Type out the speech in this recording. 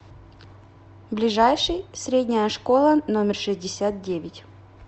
ближайший средняя школа номер шестьдесят девять